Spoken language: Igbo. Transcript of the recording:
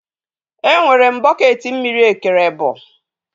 Enwere m bọketị mmiri ekere ebọ